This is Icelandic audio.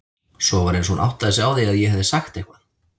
Svo var eins og hún áttaði sig á því að ég hefði sagt eitthvað.